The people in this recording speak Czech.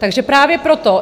Takže právě proto.